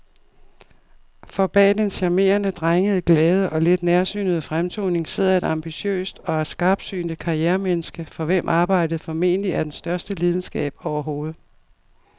For bag den charmerende, drengede, glade og lidt nærsynede fremtoning sidder et ambitiøst og skarpsynet karrieremenneske, for hvem arbejdet formentlig er den største lidenskab overhovedet.